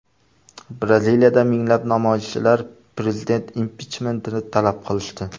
Braziliyada minglab namoyishchilar prezident impichmentini talab qilishdi.